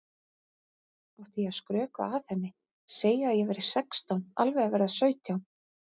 Átti ég að skrökva að henni, segja að ég væri sextán, alveg að verða sautján?